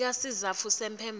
nika sizatfu semphendvulo